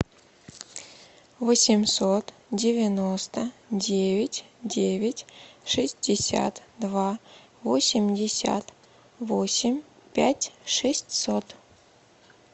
восемьсот девяносто девять девять шестьдесят два восемьдесят восемь пять шестьсот